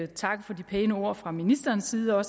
takke for de pæne ord fra ministerens side og